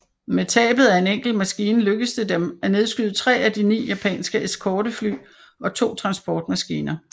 Med tabet af en enkelt maskine lykkedes det dem at nedskyde tre af de ni japanske eskortefly og to transportmaskiner